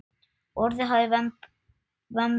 Orðið haft um vembda kú.